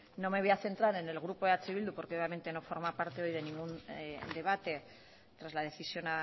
no me voy a centrar en el grupo eh bildu porque obviamente no forma parte hoy de ningún debate tras la decisión